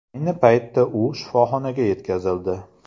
Ayni paytda u shifoxonaga yetkazildi.